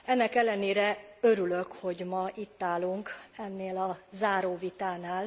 Ennek ellenére örülök, hogy ma itt állunk ennél a záróvitánál.